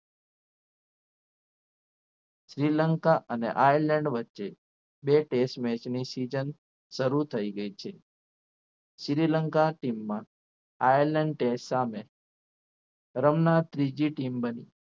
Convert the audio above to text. શ્રીલંકા અને Island વચ્ચે બે test match ની season શરૂ થઈ ગઈ છે શ્રીલંકા team માં Island test સામે રમનાર ત્રીજી team બની